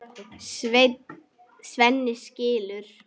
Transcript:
Svenni skilur.